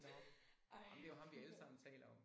Nåh ej men det jo ham vi alle sammen taler om